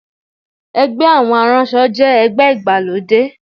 Ẹgbẹ́ àwọn aránṣọ jẹ́ ẹgbẹ́ ìgbàlódé